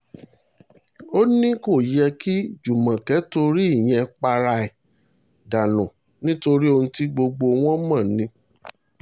ó ní kò yẹ kí júmọ́kè torí ìyẹn para ẹ̀ dànù nítorí ohun tí gbogbo àwọn mọ̀ ni